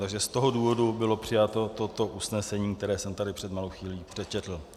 Takže z tohoto důvodu bylo přijato toto usnesení, které jsem tady před malou chvílí přečetl.